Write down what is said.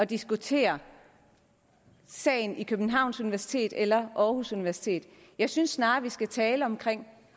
diskutere sagen ved københavns universitet eller aarhus universitet jeg synes snarere vi skal tale om